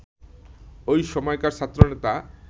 ওই সময়কার ছাত্রনেতা